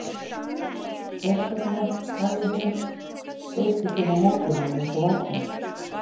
Hvers vegna hafði hún hlaupið svona á móti honum eins og varðhundur?